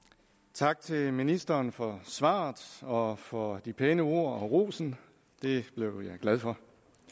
tak til ministeren for svaret og for de pæne ord og rosen det blev jeg glad for